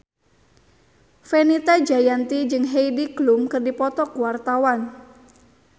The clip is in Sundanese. Fenita Jayanti jeung Heidi Klum keur dipoto ku wartawan